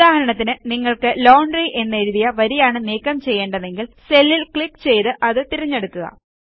ഉദാഹരണത്തിന് നിങ്ങൾക്ക് ലോണ്ട്രി എന്നെഴുതിയ വരിയാണ് നീക്കം ചെയ്യേണ്ടതെങ്കിൽ സെല്ലിൽ ക്ലിക്ക് ചെയ്ത് അത് തിരഞ്ഞെടുക്കുക